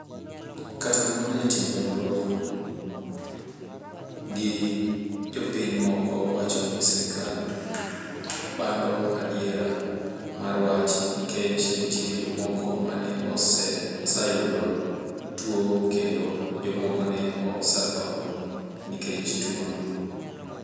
Kata kamano jotim nonro gi jopiny moko wacho ni serkal bando adier mar wach ,nikech nitie jomoko mane osayudo tuwo kendo jomoko ne osadho nikech tuwono.